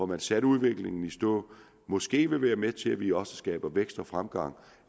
men satte udviklingen i stå måske vil være med til at vi også skaber vækst og fremgang